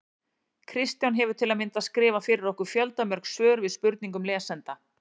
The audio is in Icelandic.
Kristján hefur til að mynda skrifað fyrir okkur fjöldamörg svör við spurningum lesenda.